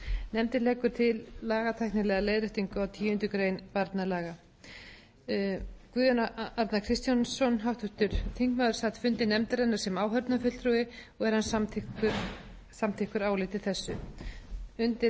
nefndin leggur til lagatæknilega leiðréttingu á tíundu grein barnalaga guðjón a kristjánsson háttvirtur þingmaður sat fundi nefndarinnar sem áheyrnarfulltrúi og er hann samþykkur áliti þessu undir